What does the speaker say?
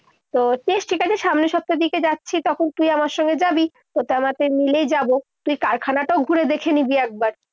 তো ঠিক আছে। সামনের সপ্তাহ দিকে যাচ্ছি। তখন তুই আমার সঙ্গে যাবি। মিলেই যাবো। তুই কারখানাটাও ঘুরে দেখে নিবি একবার।